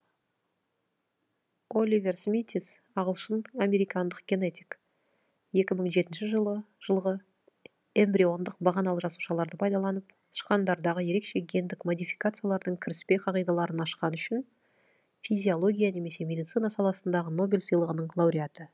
оливер смитис ағылшын американдық генетик екі мың жетнші жылғы эмбриондық бағаналы жасушаларды пайдаланып тышқандардағы ерекше гендік модификациялардың кіріспе қағидаларын ашқаны үшін физиология немесе медицина саласындағы нобель сыйлығының лауреаты